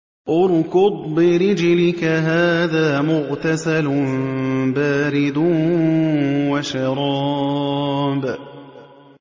ارْكُضْ بِرِجْلِكَ ۖ هَٰذَا مُغْتَسَلٌ بَارِدٌ وَشَرَابٌ